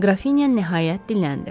Qrafinya nəhayət diləndi.